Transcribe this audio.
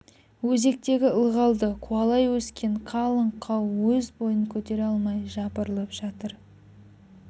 өзектегі ылғалды қуалай өскен қалың қау өз бойын көтере алмай жапырылып жатыр